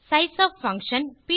sizeof function